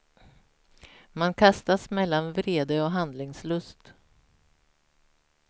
Man kastas mellan vrede och handlingslust.